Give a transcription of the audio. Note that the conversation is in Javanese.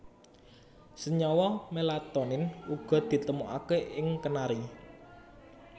Senyawa melatonin uga ditemokaké ing kenari